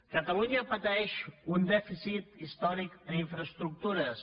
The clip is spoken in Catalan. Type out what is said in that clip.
catalunya pateix un dèficit històric en infraestructures